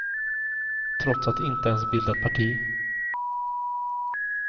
Trots att de inte ens bildat parti.